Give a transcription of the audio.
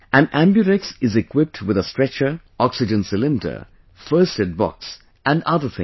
An AmbuRx is equipped with a Stretcher, Oxygen Cylinder, First Aid Box and other things